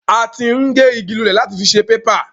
A ti ń gé ìgi lulẹ̀ láti fí ṣe bébà